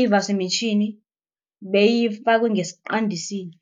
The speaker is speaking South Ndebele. ivaswe mitjhini beyifakwe ngesiqandisini.